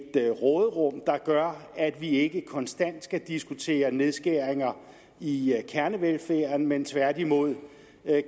råderum der gør at vi ikke konstant skal diskutere nedskæringer i kernevelfærden men tværtimod